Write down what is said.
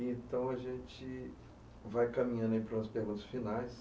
Então, a gente vai caminhando para os perguntas finais.